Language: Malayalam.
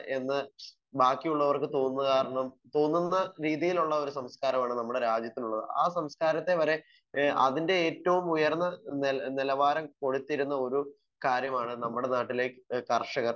സ്പീക്കർ 1 എന്ന് ബാക്കിയുള്ളവർക്ക് തോന്നുന്നത് കാരണം തോന്നുമ്പോ ഒരു രീതിയിലുള്ള ഒരു സംസ്‌കാരമാണ് നമ്മുടെ രാജ്യത്തിനുള്ളത്. ആ സംസ്‌കാരത്തെ വരെ ഏഹ് അതിൻ്റെ ഏറ്റവും ഉയർന്ന നിലവാരം കൊടുത്തിരുന്ന ഒരു കാര്യമാണ് നമ്മുടെ നാട്ടിലെ കർഷകർ.